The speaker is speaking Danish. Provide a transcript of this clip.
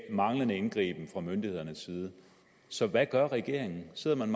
manglende indgriben fra myndighedernes side så hvad gør regeringen sidder man